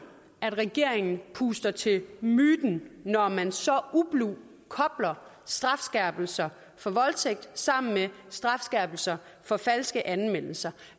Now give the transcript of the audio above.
at regeringen puster til myten når man så ublu kobler strafskærpelser for voldtægt sammen med strafskærpelser for falske anmeldelser